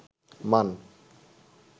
মান